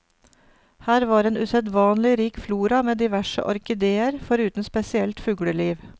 Her var en usedvanlig rik flora med diverse orkideer, foruten spesielt fugleliv.